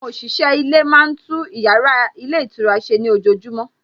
Àwọn òṣìṣẹ́ ilé máa tún ìyára ilé ìtura ṣe ní ojojúmọ́